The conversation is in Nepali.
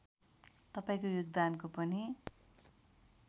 तपाईँको योगदानको पनि